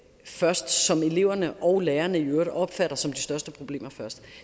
først som eleverne og lærerne i øvrigt opfatter som de største problemer